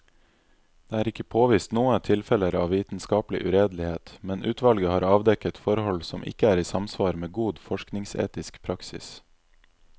Det er ikke påvist noe tilfeller av vitenskapelig uredelighet, men utvalget har avdekket forhold som ikke er i samsvar med god forskningsetisk praksis.